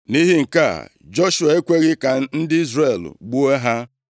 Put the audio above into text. Nʼihi nke a, Joshua ekweghị ka ndị Izrel gbuo ha.